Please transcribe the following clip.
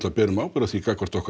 berum ábyrgð á því gagnvart okkar